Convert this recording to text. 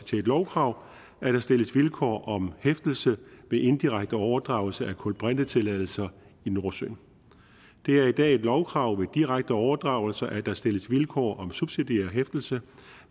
til lovkrav at der stilles vilkår om hæftelse ved indirekte overdragelse af kulbrintetilladelser i nordsøen det er i dag et lovkrav ved direkte overdragelse at der stilles vilkår om subsidiær hæftelse